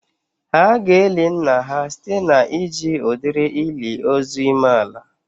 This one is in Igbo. Ha ga-eli nna ha site na iji udiri ili ozu ime ala